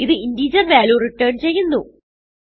ഇത് integer value return ചെയ്യുന്നു